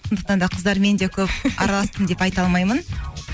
сондықтан да қыздармен де көп деп айта алмаймын